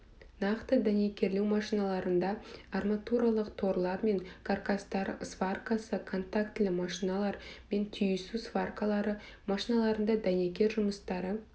нақты дәнекерлеу машиналарында арматурлық торлар мен каркастар сваркасы контактілі машиналар мен түйісуі сваркалары машиналарында дәнекер жұмыстары